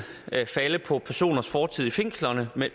falde på personers fortid i fængslerne men